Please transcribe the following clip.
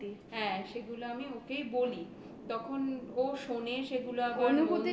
হ্যাঁ সেগুলো আমি ওকেই বলি তখন ও শোনে সেগুলো আবার